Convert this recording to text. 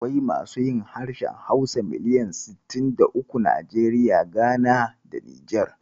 Akwai masu yin harshen Hausa miliyan sittin da uku a Najeriya, Gana da Nijar.